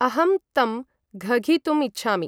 अहं तं घघितुं इच्छामि।